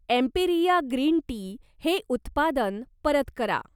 Emperia green tea हे उत्पादन परत करा.